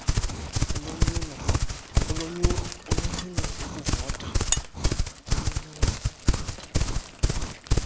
ulonyulo ukuvota kulonyulo